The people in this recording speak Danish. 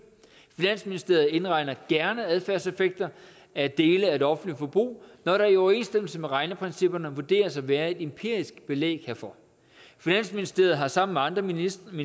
finansministeriet indregner gerne adfærdseffekter af dele af det offentlige forbrug når der i overensstemmelse med regneprincipperne vurderes at være empirisk belæg herfor finansministeriet har sammen med andre ministerier